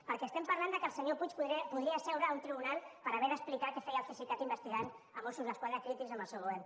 perquè estem parlant que el senyor puig podria seure a un tribunal per haver d’explicar què feia el cesicat investigant mossos d’esquadra crítics amb el seu govern